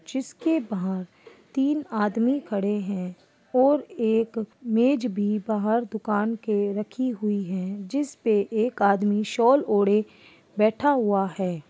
जिसके बाहर तीन आदमी खड़े हैं और एक मेज भी बाहर दुकान के रखी हुई है जिसपे एक आदमी शॉल ओढ़े बैठा हुआ है।